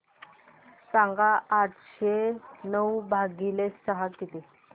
सांगा आठशे नऊ भागीले सहा किती